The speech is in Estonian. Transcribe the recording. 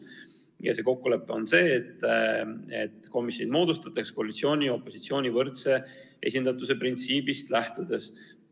Ja see kokkulepe on see, et komisjonid moodustatakse koalitsiooni ja opositsiooni võrdse esindatuse printsiibist lähtudes.